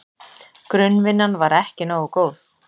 Grunnvinnan var ekki nógu góð.